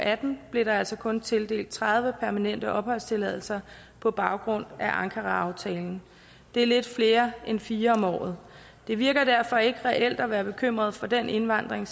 atten blev der altså kun tildelt tredive permanente opholdstilladelse på baggrund af ankaraaftalen det er lidt flere end fire om året det virker derfor ikke reelt at være bekymret for den indvandring